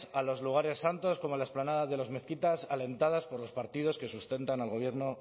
a los lugares santos como la explanada de las mezquitas alentadas por los partidos que sustentan al gobierno